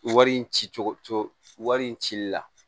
Wari in ci cogo wari wari in cili la